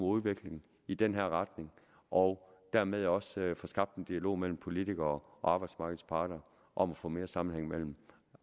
udvikling i den her retning og dermed også får skabt en dialog mellem politikere og arbejdsmarkedets parter om at få mere sammenhæng mellem